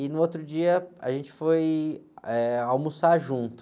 E no outro dia, a gente foi, eh, almoçar junto.